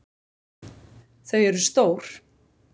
Þau eru stór.